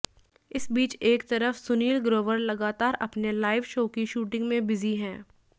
इस बीच एक तरफ सुनील ग्रोवर लगातार अपने लाइव शो की शूटिंग में बिजी हैं